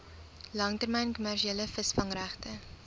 langtermyn kommersiële visvangregte